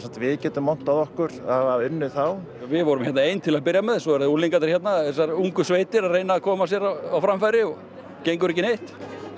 við getum montað okkur að hafa unnið þá við vorum ein til að byrja með svo eru unglingarnir þessar ungu sveitir að reyna að koma sér á framfæri og gengur ekki neitt